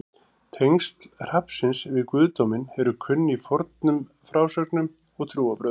Tengsl hrafnsins við guðdóminn eru kunn í fornum frásögnum og trúarbrögðum.